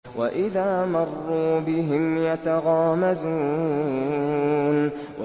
وَإِذَا مَرُّوا بِهِمْ يَتَغَامَزُونَ